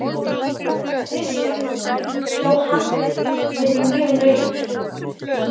Kristján: Þó hann verið mjög naumur?